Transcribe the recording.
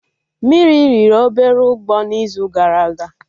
Mmiri riri obere ụgbọ na izu gara aga